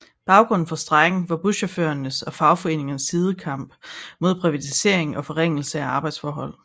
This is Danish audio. Baggrunden for strejken var fra buschaufførernes og fagforeningernes side kampen mod privatisering og forringelse af arbejdsforhold